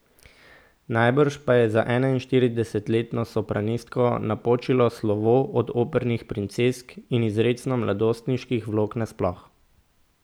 Najbrž pa je za enainštiridesetletno sopranistko napočilo slovo od opernih princesk in izrecno mladostniških vlog nasploh.